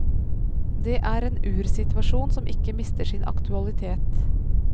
Det er en ursituasjon som ikke mister sin aktualitet.